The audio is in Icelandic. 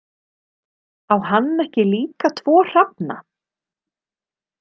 Á hann ekki líka tvo hrafna?